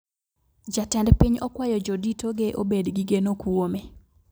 Jatend piny okwayo jodito ge obed gi geno kuome